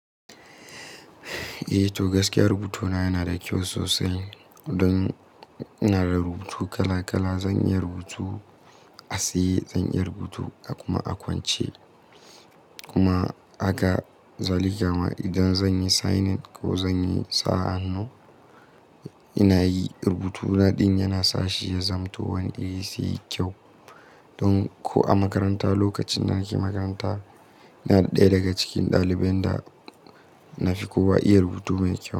Eh to gaskiya rubutuna yana da kyau sosai don ina da rubutu kala kala. Zan iya rubutu a tsaye, zan iya rubutu a kuma a kwance kuma aga zalika ma idan zanyi signing ko zanyi sa hannu. Ina yi rubutuna ɗin yana sa shi ya zamto wani iri sai kyau don ko a makaranta lokacin da nake makaranta ina ɗaya daga cikin ɗaliban da na fi kowa iya rubutu mai kyau.